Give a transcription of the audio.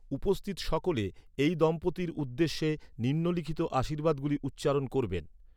উপস্থিত সকলে, এই দম্পতির উদ্দেশ্যে নিম্নলিখিত আশীর্বাদগুলি উচ্চারণ করবেন।